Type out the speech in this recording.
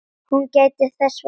Hún gætti þess vel.